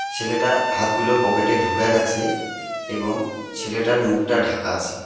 ছেলেটা হাতগুলো পকেটে ঢুকায় রাখছে এবং ছেলেটার মুখটা ঢাকা আসে।